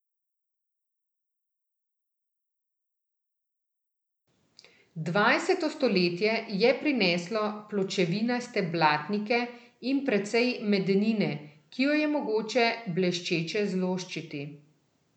Dvajseto stoletje je prineslo pločevinaste blatnike in precej medenine, ki jo je mogoče bleščeče zloščiti.